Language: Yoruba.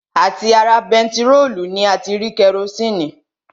À ti ara bentiróòlù ni a ti rí kerosini